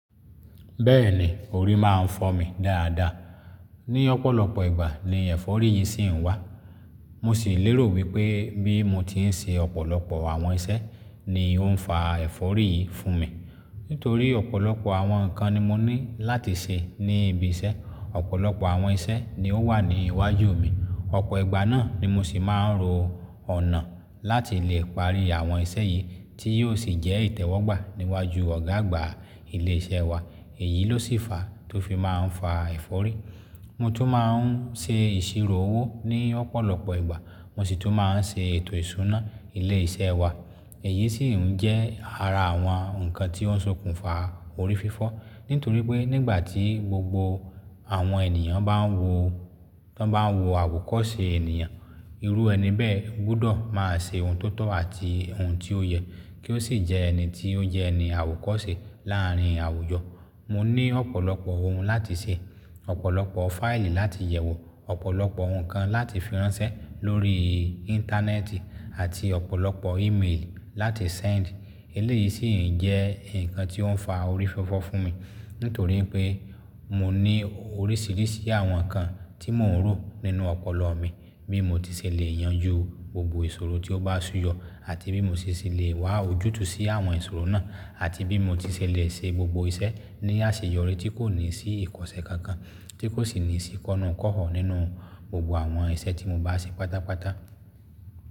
Bẹ́ẹ̀ni, orí máa ń fọ́ mi dáadáa. Ní ọ̀pọ̀lọpọ̀ ìgbà ni ẹ̀fọ́rí yìí sì ń wá. Mo sì lérò wípé bí mo tí ń ṣe ọ̀pọ̀lọpọ̀ àwọn iṣẹ́ ni ó ń fa ẹ̀fọ́rí yìí fún mi. Nítorí ọ̀pọ̀lọpọ̀ àwọn nǹkan ni mo ní láti ṣe ní ibi iṣẹ́, ọ̀pọ̀lọpọ̀ àwọn iṣẹ́ ni ó wà ní iwájú mi. Ọ̀pọ̀ ìgbà náà ni mo sì máa ń ro ọ̀nà láti lè parí àwọn iṣẹ́ yìí tí yóò sì jẹ́ ìtẹ́wọ́gbà níwájú ọ̀gá àgbà ilé iṣẹ́ wa. Èyí ló sì fàá tó fi máa ń fa ẹ̀fọ́rí. Mo tún máa ń ṣe ìṣirò owó ní ọ̀pọ̀lọpọ̀ ìgbà, mo sì tún máa ń ṣe ètò ìṣúná ilé-iṣẹ́ wa. Èyí sì ń jẹ́ ara àwọn nǹkan tí ó ń ṣokùnfà orí fífọ́. Nítorí pé nígbà tí gbogbo àwọn ènìyàn bá ń wo, tọ́n bá ń wo àwòkọ́ṣe ènìyàn, irú ẹni bẹ́ẹ̀ gbọ́dọ̀ máa ṣe ohun tó tọ́ àti ohun tí ó yẹ kí ó sì jẹ ẹni tí ó jẹ́ ẹni àwòkọ́ṣe láàárín àwùjọ. Mo ní ọ̀pọ̀lọpọ̀ ohun láti ṣe, ọ̀pọ̀lọpọ̀ fáìlì láti yẹ̀wò, ọ̀pọ̀lọpọ̀ ohun kan láti fi ránṣẹ́ lórí íńtánẹ́ẹ̀tì àti ọ̀pọ̀lọpọ̀ ímeèlì láti sẹ́ẹ̀ndì. Eléyìí sì ń jẹ́ nǹkan tí ó ń fa orí fífọ́ fún mi. Nítorí pé mo ní oríṣìíríṣìí àwọn nǹkan tí mò ń rò nínú ọpọlọ mi bí mo ti ṣè lè yanjú gbogbo ìṣòro tí ó bá súyọ, àti bí mo ti ṣe sì lè wá ojútùú sí àwọn ìṣòro náà àti bí mo ti ṣè lè ṣe gbogbo iṣẹ́ ní àṣeyọrí tí kò ní sí ìkọsẹ̀ kankan, tí kò sì ní sí kọ́nú-n-kọ́họ nínú gbogbo àwọn iṣẹ́ tí mo bá ṣe pátápátá.